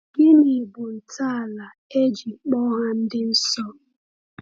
Gịnị bụ ntọala e ji kpọọ ha ndị nsọ?